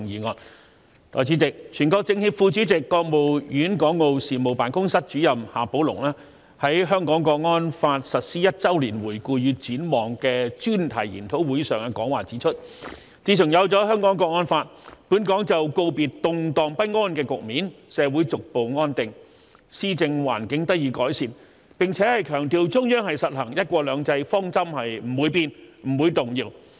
代理主席，全國政協副主席、國務院港澳事務辦公室主任夏寶龍在"香港國安法實施一周年回顧與展望"專題研討會上的講話指出，自從有了《香港國安法》，本港就告別動盪不安的局面，社會逐步安定，施政環境得以改善，並強調中央實行"一國兩制"方針不會變、不會動搖。